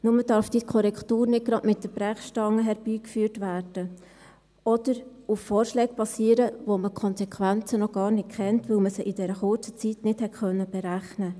Nur darf diese Korrektur nicht gerade mit der Brechstange herbeigeführt werden oder auf Vorschlägen basieren, von denen man die Konsequenzen noch gar nicht kennt, weil man sie in dieser kurzen Zeit nicht berechnen konnte.